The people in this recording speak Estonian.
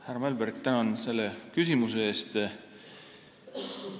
Härra Mälberg, tänan selle küsimuse eest!